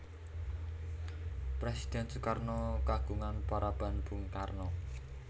Présidhèn Sukarno kagungan paraban Bung Karno